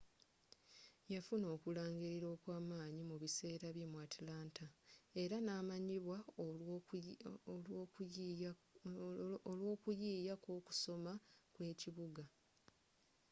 yafuna okulangilirwa okwamanyi mu biseera bye mu atlanta era namanyibwa olw'okuyiiya kw'okusoma kw'ekibuga